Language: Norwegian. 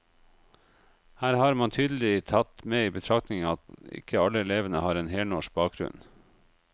Her har man tydelig tatt med i betraktningen at ikke alle elevene har en helnorsk bakgrunn.